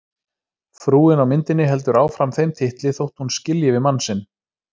Frúin á myndinni heldur áfram þeim titli þótt hún skilji við mann sinn.